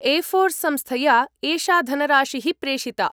एफोर् संस्थया एषा धनराशिः प्रेषिता।